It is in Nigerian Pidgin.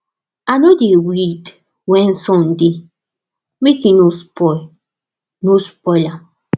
i no dey weed when sun dey make e no spoil no spoil am